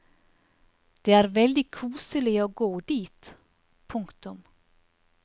Det er veldig koselig å gå dit. punktum